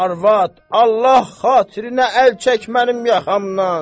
Arvad, Allah xatirinə əl çək mənim yaxamdan!